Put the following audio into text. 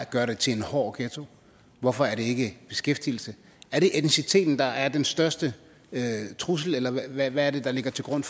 gør det til en hård ghetto hvorfor er det ikke beskæftigelse er det etniciteten der er den største trussel eller hvad er det der ligger til grund